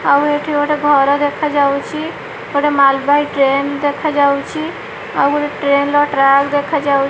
ଆଉ ଏଠି ଗୋଟେ ଘର ଦେଖାଯାଉଛି ଗୋଟେ ମାଲ୍ ବହି ଟ୍ରେନ୍ ଦେଖାଯାଉଛି ଆଉ ଗୋଟେଟ୍ରେନ୍ ର ଟ୍ରାକ ଦେଖାଯାଉଛି।